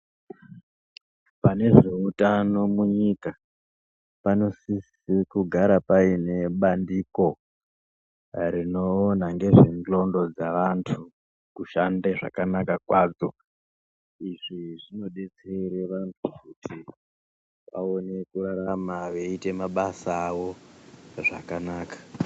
Pane zveutano munyika panosisa kugara paine bandiko rinoona ngezvendxondo dzeantu kushanda kwakanaka kunaka kwadzo. Izvi zvinobatsira antu aone kurarama weiita mabasa awo zvakanaka